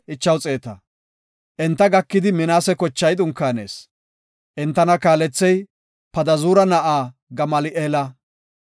Enta gakidi Minaase kochay dunkaanees. Entana kaalethey Padazuura na7aa Gamali7eela.